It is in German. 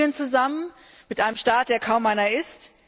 Mit Libyen zusammen, einem Staat, der kaum einer ist?